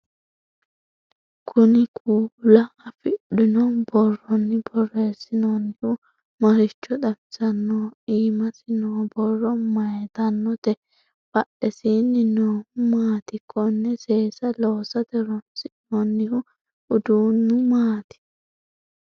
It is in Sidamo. kuni kuula afidhino borronni borreessinoonnihu maricho xawisannoho? iimasi noo borro mayeetannote? badhesiinni noohu maati? konne seesa loosate horonsi'noonnihu udunnu maati?